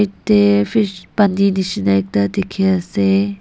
tey fish pani nishi na ekta dikey ase.